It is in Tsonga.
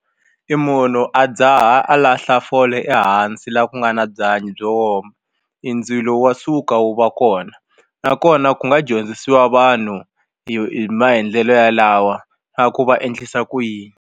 E munhu a dzaha a lahla fole ehansi la ku nga na byanyi byo woma i ndzilo wa suka wu va kona nakona ku nga dyondzisiwa vanhu hi hi maendlelo yalawa na ku va endlisa ku yini.